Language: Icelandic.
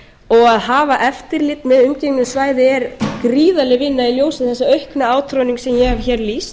og að hafa eftirlit með umgengni um svæði er gríðarleg vinna í ljósi þess aukna átroðnings sem ég hef hér lýst